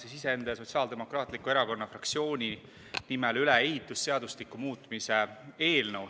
Annan iseenda ja Sotsiaaldemokraatliku Erakonna fraktsiooni nimel üle ehitusseadustiku muutmise eelnõu.